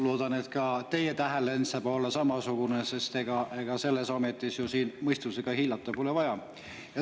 Loodan, et ka teie tähelend saab olema samasugune, sest ega selles ametis siin ju mõistusega hiilata pole vaja.